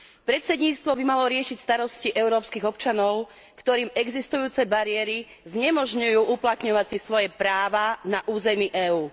Predsedníctvo by malo riešiť starosti európskych občanov, ktorým existujúce bariéry znemožňujú uplatňovať si svoje práva na území EÚ.